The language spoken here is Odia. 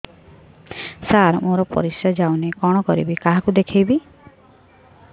ସାର ମୋର ପରିସ୍ରା ଯାଉନି କଣ କରିବି କାହାକୁ ଦେଖେଇବି